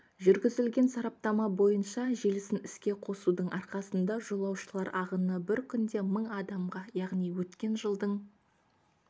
жүргізілген сараптама бойынша желісін іске қосудың арқасында жолаушылар ағыны бір күнде мың адамға яғни өткен жылдың